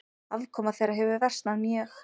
Afkoma þeirra hefur versnað mjög.